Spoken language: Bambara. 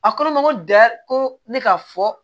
A ko ne ma ko dɛ ko ne ka fɔ